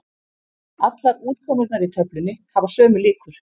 Allar útkomurnar í töflunni hafa sömu líkur.